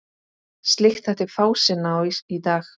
Slíkt þætti fásinna í dag.